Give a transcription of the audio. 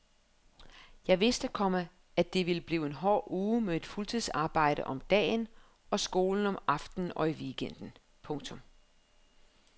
Jeg vidste, komma at det ville blive en hård uge med mit fuldtidsarbejde om dagen og skolen om aftenen og i weekenden. punktum